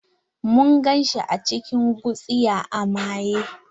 Mun gan shi a cikin gutsiya a maye.